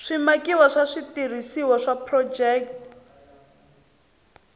swimakiwa swa switirhisiwa swa phurojeke